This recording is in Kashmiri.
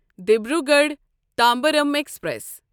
دیبروگڑھ تمبارم ایکسپریس